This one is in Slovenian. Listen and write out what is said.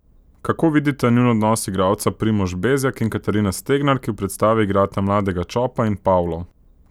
Kako vidita njun odnos igralca Primož Bezjak in Katarina Stegnar, ki v predstavi igrata mladega Čopa in Pavlo?